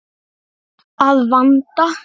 Að vanda.